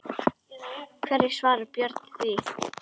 Hverju svarar Björn því?